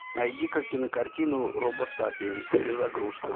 найди ка кинокартину робосапиен перезагрузка